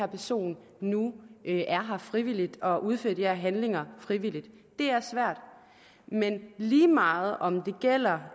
person nu er her frivilligt og udfører de her handlinger frivilligt det er svært men lige meget om det gælder